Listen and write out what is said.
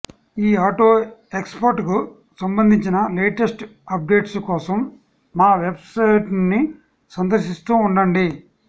ఈ ఆటో ఎక్స్పోకు సంబంధించిన లేటెస్ట్ అప్డేట్స్ కోసం మా వెబ్సైట్ను సందర్శిస్తూ ఉండండి